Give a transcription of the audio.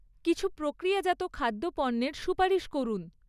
কিছু প্রক্রিয়াজাত খাদ্য পণ্যের সুপারিশ করুন।